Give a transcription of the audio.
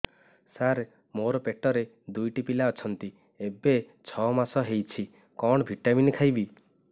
ସାର ମୋର ପେଟରେ ଦୁଇଟି ପିଲା ଅଛନ୍ତି ଏବେ ଛଅ ମାସ ହେଇଛି କଣ ଭିଟାମିନ ଖାଇବି